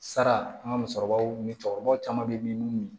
Sara an ka musokɔrɔbaw ni cɛkɔrɔbaw caman be min